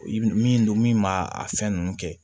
Min don min b'a a fɛn nunnu kɛ